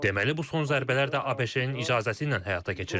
Deməli bu son zərbələr də ABŞ-nin icazəsi ilə həyata keçirilib.